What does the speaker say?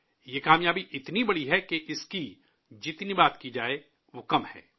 یہ کامیابی اتنی عظیم ہے کہ اس پر کسی بھی قسم کی بحث ناکافی ہوگی